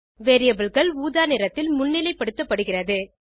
Variableகள் ஊதா நிறத்தில் முன்னிலைப்படுத்தப்படுகிறது